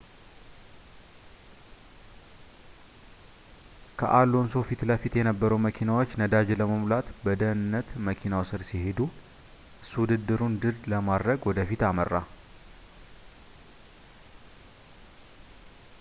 ከአሎንሶ ፊትለፊት የነበሩ መኪናዎች ነዳጅ ለመሙላት በደህንነት መኪናው ስር ሲሄዱ እሱ ውድድሩን ድል ለማድረግ ወደፊት አመራ